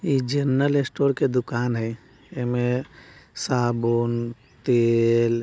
ये एक general store का दुकान हई एमें साबुन तेल --